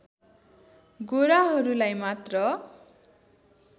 गोराहरुलाई मात्र